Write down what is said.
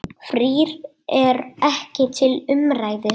Frí er ekki til umræðu.